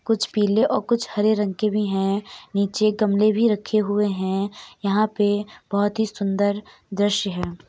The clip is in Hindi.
कुछ पीले और कुछ हरे रंग के भी हैं। नीचे गमले भी रखे हुए हैं। यहाँ पे बहुत ही सुंदर दृश्य हैं।